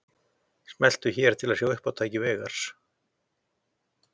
Smelltu hér til að sjá uppátæki Veigars